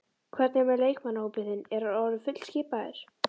Hvernig er með leikmannahópinn þinn, er hann orðinn fullskipaður?